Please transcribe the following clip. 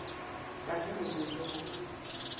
ka ge se rwele go